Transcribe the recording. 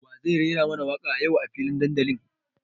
Wa zai rera mana waka yau a filin dandalin?